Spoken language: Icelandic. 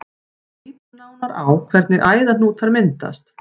En lítum nánar á hvernig æðahnútar myndast.